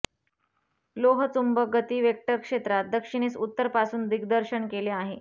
लोहचुंबक गती वेक्टर क्षेत्रात दक्षिणेस उत्तर पासून दिग्दर्शन केले आहे